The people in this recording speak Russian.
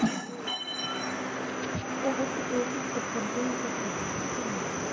я хочу получить подтверждение заказа пришли мне его